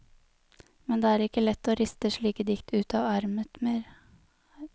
Men det er ikke lett å riste slike dikt ut av ermet mer.